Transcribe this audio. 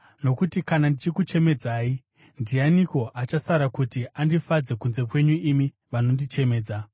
Nokuti kana ndichikuchemedzai, ndianiko achasara kuti andifadze kunze kwenyu imi vandinochemedza?